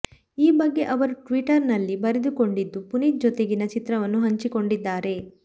ಈ ಬಗ್ಗೆ ಅವರು ಟ್ವಿಟ್ಟರ್ನಲ್ಲಿ ಬರೆದುಕೊಂಡಿದ್ದು ಪುನೀತ್ ಜೊತೆಗಿನ ಚಿತ್ರವನ್ನೂ ಹಂಚಿಕೊಂಡಿದ್ದಾರೆ